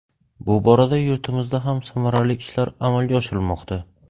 Bu borada yurtimizda ham samarali ishlar amalga oshirilmoqda.